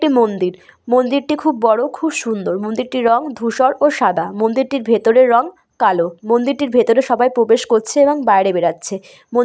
একটি মন্দির মন্দিরটি খুব বড়ো খুব সুন্দর মন্দিরটির রং ধূসর ও সাদা মন্দিরটির ভেতরে রং কালো মন্দিরটির ভেতরে সবাই প্রবেশ করছে এবং বাইরে বেড়াচ্ছে মন --